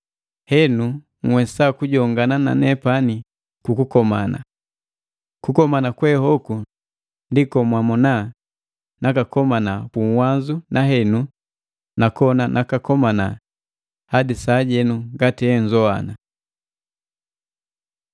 henu nhwesa kujongana na nepani kukomana. Kukomana kwe hoku ndi komwamona nakakomana puuwanzu nahenu nakona nakakomana hadi sajeno ngati enzowana.